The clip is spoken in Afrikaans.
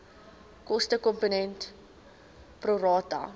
kostekomponent pro rata